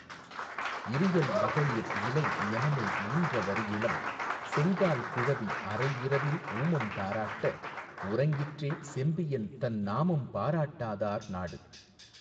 இரியல் மகளிர் இலை ஞெமலுள் ஈன்ற வரி இளம் செங்கால் குழவி அரை இரவில் ஊமம் தாராட்ட உறங்கிற்றே செம்பியன் தன் நாமம் பாராட்டாதார் நாடு.